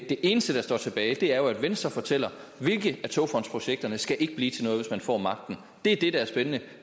det eneste der står tilbage er at venstre fortæller hvilke af togfondsprojekterne skal blive til noget hvis man får magten det er det der er spændende